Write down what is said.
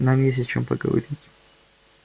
нам есть о чем поговорить